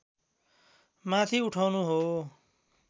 माथि उठाउनु हो